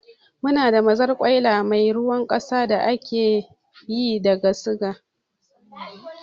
Muna da mazarkwaila mai ruwar kasa da ake yi daga suga